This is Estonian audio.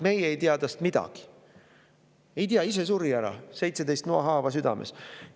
Ei tea, ise suri ära, 17 noahaava südames.